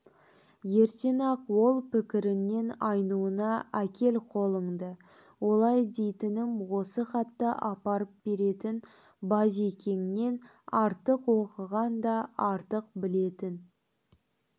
ертең-ақ ол пікіріңнен айнуыңа әкел қолыңды олай дейтінім осы хатты апарып беретін базекеңнен артық оқыған да артық білетін